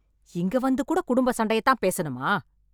இங்க வந்து கூட குடும்பச் சண்டையதான் பேசணுமா?